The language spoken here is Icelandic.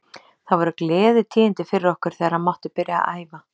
Það voru gleðitíðindi fyrir okkur þegar hann mátti byrja að æfa.